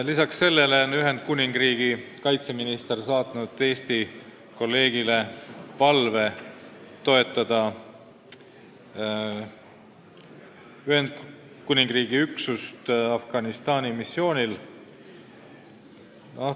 Lisaks sellele on Ühendkuningriigi kaitseminister saatnud Eesti kolleegile palve toetada Ühendkuningriigi üksust Afganistani missioonil.